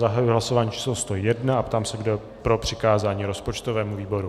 Zahajuji hlasování číslo 101 a ptám se, kdo je pro přikázání rozpočtovému výboru.